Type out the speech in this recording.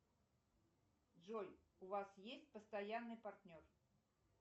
джой у вас есть постоянный партнер